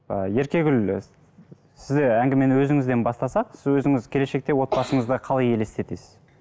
і еркегүл і сізде әңгімені өзіңізден бастасақ сіз өзіңіз келешекте отбасыңызды қалай елестетесіз